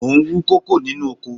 Mo ń wú kókò nínú oko